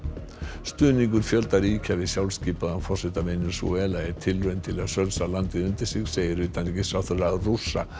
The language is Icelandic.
stuðningur fjölda ríkja við sjálfskipaðan forseta Venesúela er tilraun til að sölsa landið undir sig segir utanríkisráðherra Rússa